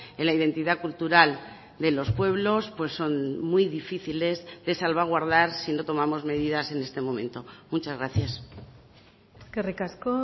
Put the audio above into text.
en la identidad cultural de los pueblos son muy difíciles de salvaguardar si no tomamos medidas en este momento muchas gracias eskerrik asko